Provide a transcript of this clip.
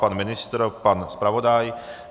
Pan ministr, pan zpravodaj?